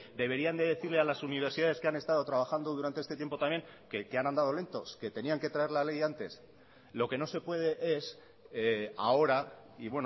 deberían de decirle a las universidades que han estado trabajando durante este tiempo también que han andado lentos que tenían que traer la ley antes lo que no se puede es ahora y